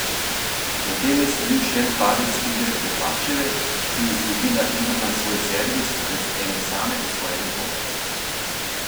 Zatem je sledil še en padec igre Klepačeve, ki je izgubila igro na svoj servis brez ene same osvojene točke.